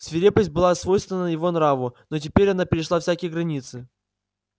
свирепость была свойственна его нраву но теперь она перешла всякие границы